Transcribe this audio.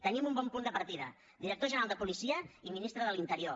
tenim un bon punt de partida director general de policia i ministre de l’interior